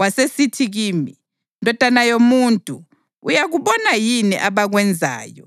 Wasesithi kimi, “Ndodana yomuntu, uyakubona yini abakwenzayo,